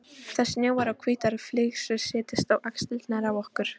Það snjóar og hvítar flygsur setjast á axlirnar á okkur.